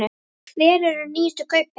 Hver eru nýjustu kaupin?